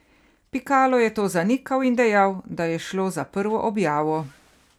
Pikalo je to zanikal in dejal, da je šlo za prvo objavo.